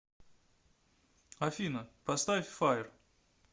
афина поставь файр